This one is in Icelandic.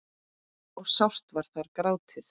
og sárt var þar grátið.